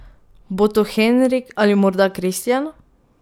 Bo to Henrik ali morda Kristjan?